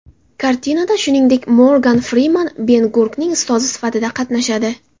Kartinada shuningdek Morgan Friman Ben-Gurning ustozi sifatida qatnashadi.